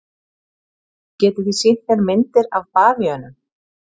Getið þið sýnt mér myndir af bavíönum?